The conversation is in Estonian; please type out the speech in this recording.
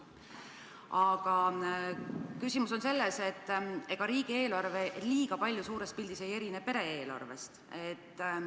Aga küsimus on selles, et ega riigieelarve suures pildis liiga palju pere-eelarvest ei erine.